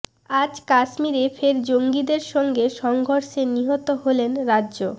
আজ কাশ্মীরে ফের জঙ্গিদের সঙ্গে সংঘর্ষে নিহত হলেন রাজ্য